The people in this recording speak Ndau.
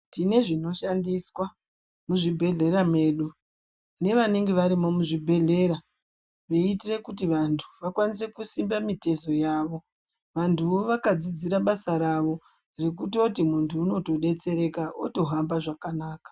Tinozvinoshandiswa muzvibhehlera mwedu nevanenge varimwo muzvibhehlera veitire kuti vantu vakwanise kusimba mitezo yavo vantuvo vakadzidzira basa ravo zvekutoti muntu unotodetsereka otohamba zvakanaka.